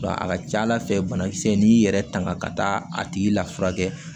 A ka ca ala fɛ banakisɛ n'i y'i yɛrɛ tanga ka taa a tigi lafiya